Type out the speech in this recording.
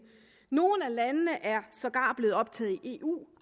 nogle af landene er sågar blevet optaget i eu